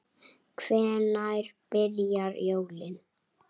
Hvenær byrja jólin?